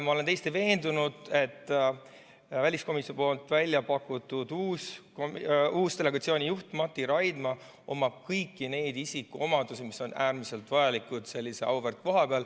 Ma olen täiesti veendunud, et väliskomisjonis välja pakutud uus delegatsiooni juht Mati Raidma omab kõiki neid isikuomadusi, mis on äärmiselt vajalikud sellise auväärt koha peal.